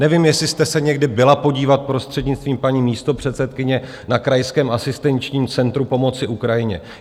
Nevím, jestli jste se někdy byla podívat, prostřednictvím paní místopředsedkyně, na krajském asistenčním centru pomoci Ukrajině.